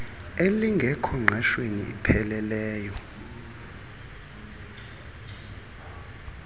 elingekho ngqeshweni ipheleleyo